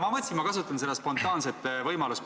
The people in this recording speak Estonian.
Ma mõtlesin, et ma kasutan seda spontaanset võimalust.